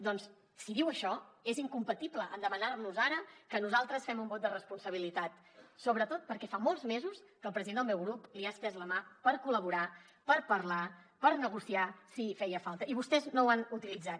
doncs si diu això és incompatible amb demanar nos ara que nosaltres fem un vot de responsabilitat sobretot perquè fa molts mesos que el president del meu grup li ha estès la mà per col·laborar per parlar per negociar si feia falta i vostès no ho han utilitzat